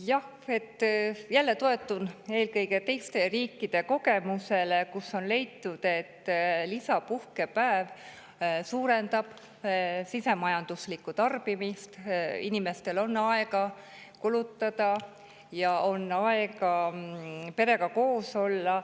Ma jälle toetun eelkõige teiste riikide kogemusele, kus on leitud, et lisapuhkepäev suurendab sisemajanduslikku tarbimist: inimestel on aega kulutada ja perega koos olla.